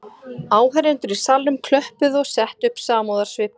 Áheyrendur í salnum klöppuðu og settu upp samúðarsvip